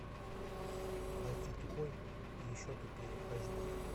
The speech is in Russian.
найти тупой и еще тупее аш ди